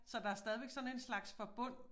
Så der stadigvæk sådan en slags forbund